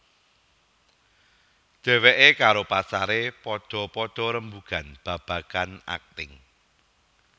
Dheweké karo pacaré padha padha rembugan babagan akting